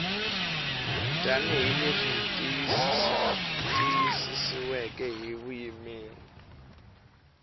tanihi leswi tiyisisiweke hi vuyimeri